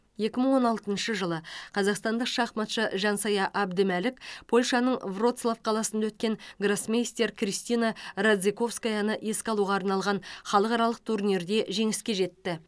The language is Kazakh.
екі мың он алтыншы жылы қазақстандық шахматшы жансая әбдімәлік польшаның вроцлав қаласында өткен гроссмейстер кристина радзиковскаяны еске алуға арналған халықаралық турнирінде жеңіске жетті